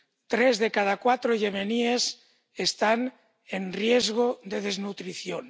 Tres de cada cuatro yemeníes están en riesgo de desnutrición.